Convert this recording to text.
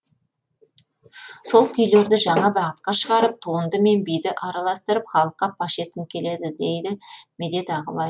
сол күйлерді жаңа бағытқа шығарып туынды мен биді араластырып халыққа паш еткім келеді дейді медет ағыбай